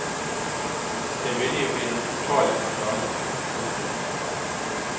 Det ville jo bli den totale skandale. punktum